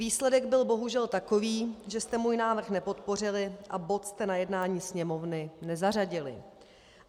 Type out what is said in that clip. Výsledek byl bohužel takový, že jste můj návrh nepodpořili a bod jste na jednání Sněmovny nezařadili.